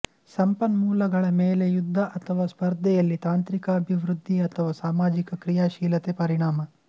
ಸಂಪನ್ಮೂಲಗಳ ಮೇಲೆ ಯುದ್ಧ ಅಥವಾ ಸ್ಪರ್ಧೆಯಲ್ಲಿ ತಾಂತ್ರಿಕ ಅಭಿವೃದ್ಧಿ ಅಥವಾ ಸಾಮಾಜಿಕ ಕ್ರಿಯಾಶೀಲತೆ ಪರಿಣಾಮ